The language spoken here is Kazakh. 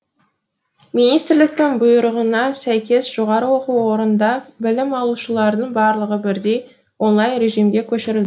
министрліктің бұйрығына сәйкес жоғары оқу орнында білім алушылардың барлығы бірдей онлайн режимге көшірілді